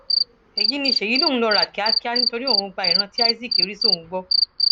èyí ni ṣéyí lòun lóò rà kíákíá nítorí òun gba ìran tí isaac rí sóun gbọ